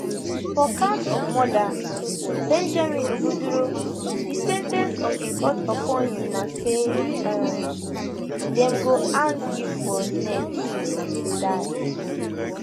for count of murder benjamin ogudoro di sen ten ce of di court upon you na say um dem go hang you for neck till you die